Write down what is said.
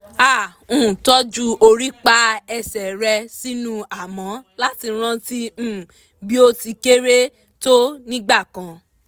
a um tọ́jú orípa ẹsẹ̀ rẹ̀ sínú amọ̀ láti rántí um bí ó ti kéré tó nígbà kan